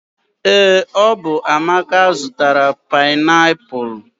ee, ọ bụ amaka zụtara painiapulu